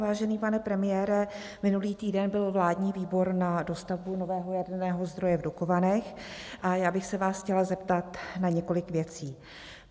Vážený pane premiére, minulý týden byl vládní výbor na dostavbu nového jaderného zdroje v Dukovanech a já bych se vás chtěla zeptat na několik věcí.